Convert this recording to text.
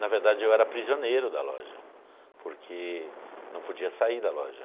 Na verdade, eu era prisioneiro da loja, porque não podia sair da loja.